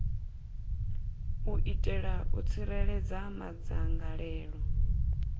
u itela u tsireledza madzangalelo